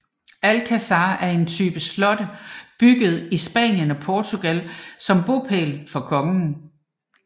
Alcázar er en type slotte bygget i Spanien og Portugal som bopæl for kongen